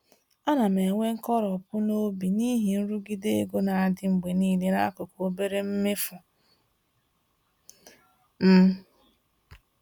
Ana m enwe nkoropụ n’obi n’ihi nrụgide ego na-adị mgbe niile n’akụkụ obere mmefu m.